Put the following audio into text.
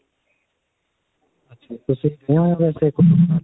ਅੱਛਾ ਜੀ .